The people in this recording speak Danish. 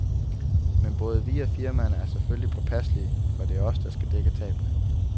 Men både vi og firmaerne er selvfølgelige påpasselige, for det er os, der skal dække tabene.